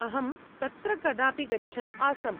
अहं तत्र कदापि गच्छन् आसम्।